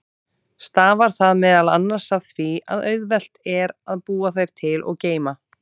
Stafar það meðal annars af því að auðvelt er að búa þær til og geyma.